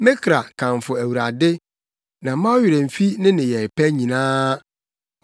Me kra, kamfo Awurade, na mma wo werɛ mmfi ne nneyɛe pa nyinaa,